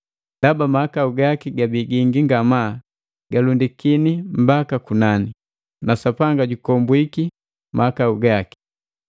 Ndaba mahakau gaki gabii gingi nga maa galundikini mbaka kunani, na Sapanga jukombwiki mahakau gaki.